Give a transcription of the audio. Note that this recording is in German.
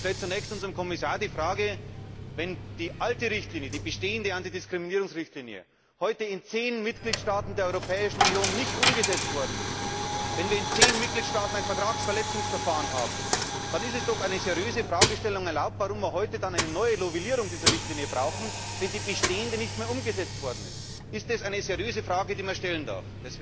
Zunächst stelle ich dem Kommissar die Frage Wenn die alte Richtlinie, die bestehende Antidiskriminierungsrichtlinie, heute in zehn Mitgliedstaaten der Europäischen Union nicht umgesetzt worden ist, wenn wir in zehn Mitgliedstaaten ein Vertragsverletzungsverfahren haben, ist es doch eine seriöse Fragestellung, warum wir dann heute eine Novellierung dieser Richtlinie brauchen, wenn die bestehende nicht einmal umgesetzt worden ist. Ist das eine seriöse Frage, die man stellen darf?